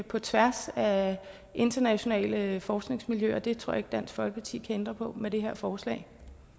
på tværs af internationale forskningsmiljøer og det tror jeg ikke at dansk folkeparti kan ændre på med det her forslag